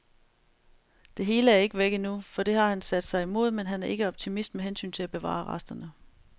Det hele er ikke væk endnu, for det har han sat sig imod, men han er ikke optimist med hensyn til at bevare resterne.